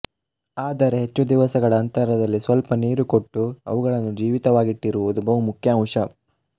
ಆದರೆ ಹೆಚ್ಚು ದಿವಸಗಳ ಅಂತರದಲ್ಲಿ ಸ್ವಲ್ಪ ನೀರು ಕೊಟ್ಟು ಅವುಗಳನ್ನು ಜೀವಿತವಾಗಿಟ್ಟಿರುವುದು ಬಹು ಮುಖ್ಯ ಅಂಶ